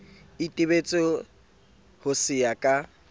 itebetse ho se ya ka